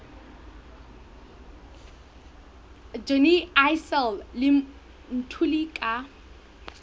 johnny issel le mthuli ka